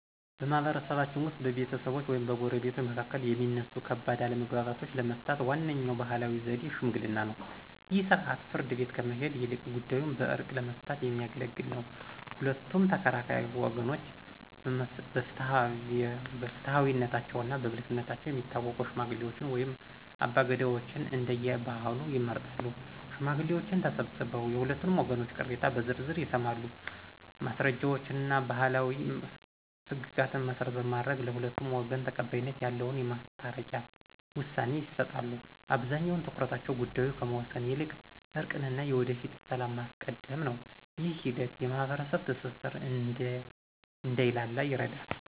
በማኅበረሰባችን ውስጥ በቤተሰቦች ወይም በጎረቤቶች መካከል የሚነሱ ከባድ አለመግባባቶችን ለመፍታት ዋነኛው ባሕላዊ ዘዴ ሽምግልና ነው። ይህ ሥርዓት ፍርድ ቤት ከመሄድ ይልቅ ጉዳዩን በዕርቅ ለመፍታት የሚያገለግል ነው። ሁለቱም ተከራካሪ ወገኖች በፍትሐዊነታቸውና በብልህነታቸው የሚታወቁ ሽማግሌዎችን ወይም አባገዳዎችን (እንደየባህሉ) ይመርጣሉ። ሽማግሌዎቹ ተሰብስበው የሁለቱንም ወገኖች ቅሬታ በዝርዝር ይሰማሉ። ማስረጃዎችንና ባሕላዊ ሕግጋትን መሠረት በማድረግ፣ ለሁለቱም ወገን ተቀባይነት ያለውን የማስታረቂያ ውሳኔ ይሰጣሉ። አብዛኛው ትኩረታቸው ጉዳዩን ከመወሰን ይልቅ እርቅንና የወደፊቱን ሰላም ማስቀደም ነው። ይህ ሂደት የማኅበረሰብ ትስስር እንዳይላላ ይረዳል።